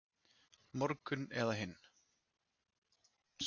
Morgun eða hinn.